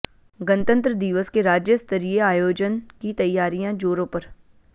गणतंत्र दिवस के राज्यस्तरीय आयोजन की तैयारियां जोरों पर